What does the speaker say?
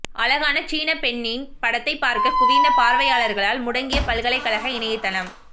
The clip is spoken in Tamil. அழகான சீனப் பெண்ணின் படத்தை பார்க்கக் குவிந்த பார்வையாளர்களால் முடங்கிய பல்கலைகழக இணையத்தளம்